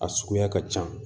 A suguya ka ca